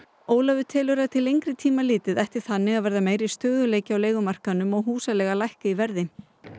Ólafur telur að til lengri tíma litið ætti þannig að verða meiri stöðuleiki á leigumarkaðnum og húsaleiga að lækka í verði